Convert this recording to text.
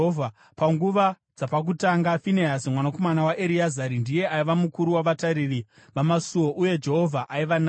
Panguva dzapakutanga Finehasi mwanakomana waEreazari ndiye aiva mukuru wavatariri vamasuo, uye Jehovha aiva naye.